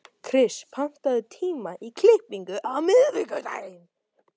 Kris, pantaðu tíma í klippingu á miðvikudaginn.